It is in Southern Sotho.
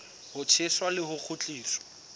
ho tjheswa le ho kgutliswa